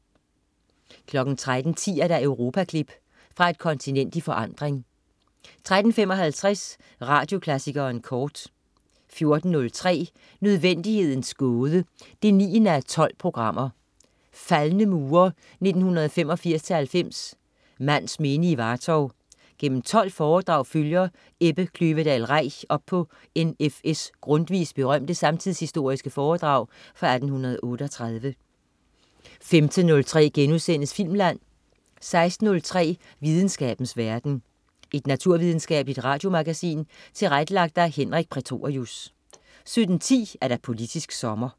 13.10 Europaklip. Fra et kontinent i forandring 13.55 Radioklassikeren kort 14.03 Nødvendighedens Gåde 9:12. Faldne mure (1985-90). Mands minde i Vartov. Gennem 12 foredrag følger Ebbe Kløvedal Reich op på N.F.S Grundtvigs berømte samtidshistoriske foredrag fra 1838 15.03 Filmland* 16.03 Videnskabens verden. Et naturvidenskabeligt radiomagasin tilrettelagt af Henrik Prætorius 17.10 Politisk sommer